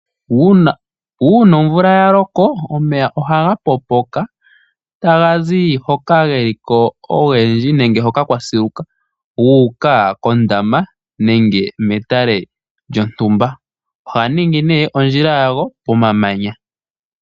Uuna omvula ya loko omeya ohaga popoka taga zi hoka geliko ogendji nenge hoka kwa siluka guuka koondamba nenge metale lyontumba ohaga ningi ne ondjila ya go pomamanya.